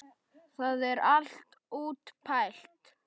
Það er allt útpælt.